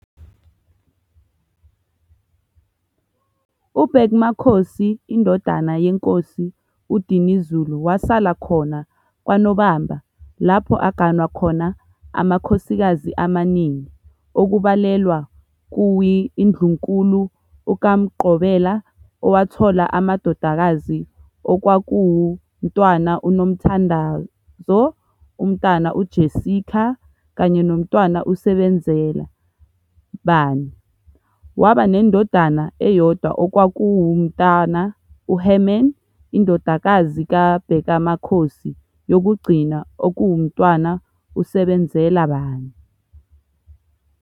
UBhekmakhosi indodana yeNkosi uDinizulu wasala khona kwaNobamba lapho aganwa khona amakhosikazi amaningi okubalelwa kuwi iNdlunkulu ukaMgxobela owathola amadodakazi okwakuwu Mtwana uNomthandao, uMtwana uJessica, kanye noMtwana uSebenzela bani, waba ne ndodana eyodwa okwakuwu Mtwana uHerman.indodakazi kaBhekamakhosi yokugcina okuwumtwana uSebenzela bani